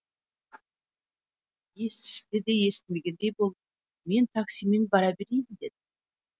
естіседе естімегендей болып мен таксимен бара берейін деді